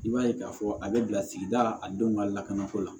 I b'a ye k'a fɔ a bɛ bila sigida a denw ka lakanako la